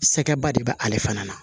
Sɛkɛba de bɛ ale fana na